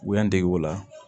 U y'an dege o la